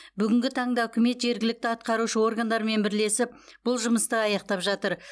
бүгінгі таңда үкімет жергілікті атқарушы органдармен бірлесіп бұл жұмысты аяқтап жатыр